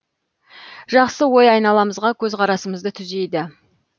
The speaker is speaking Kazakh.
жақсы ой айналамызға көзқарасымызды түзейді